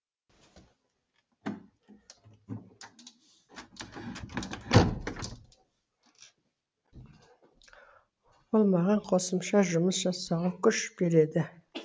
ол маған қосымша жұмыс жасауға күш береді